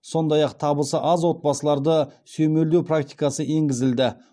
сондай ақ табысы аз отбасыларды сүйемелдеу практикасы енгізілді